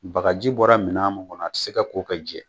Bagaji bɔra mina min ŋɔnɔn a ti se ka k'o ka jɛ